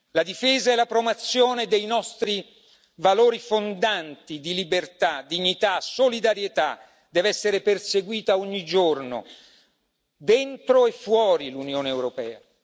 La difesa e la promozione dei nostri valori fondanti di libertà, dignità e solidarietà deve essere perseguita ogni giorno dentro e fuori l'Unione europea.